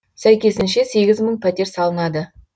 сәйкесінше сегіз мың пәтер салынады